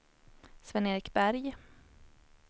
Sven-Erik Berg